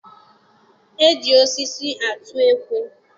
E ji osisi atụ ekwe.